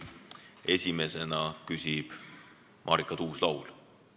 Esimesena küsib Marika Tuus-Laul.